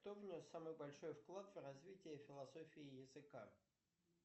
кто внес самый большой вклад в развитие философии языка